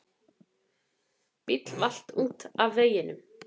Bíll valt út af veginum.